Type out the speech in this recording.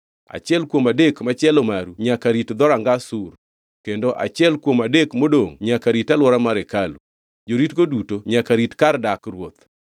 Achiel kuom adek machielo maru nyaka rit dhoranga Sur. Kendo achiel kuom adek modongʼ nyaka rit alwora mar hekalu. Joritgo duto nyaka rit kar dak ruoth.